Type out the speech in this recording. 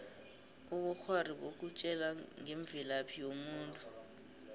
ubukghwari bukutjela ngemvelaphi yomuntu